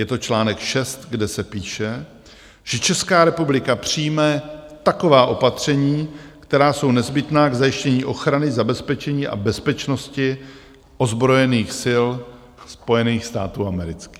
Je to článek 6, kde se píše, že Česká republika přijme taková opatření, která jsou nezbytná k zajištění ochrany, zabezpečení a bezpečnosti ozbrojených sil Spojených států amerických.